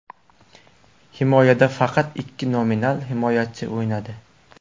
Himoyada faqat ikki nominal himoyachi o‘ynadi.